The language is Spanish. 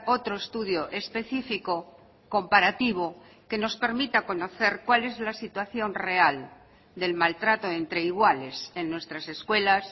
otro estudio específico comparativo que nos permita conocer cuál es la situación real del maltrato entre iguales en nuestras escuelas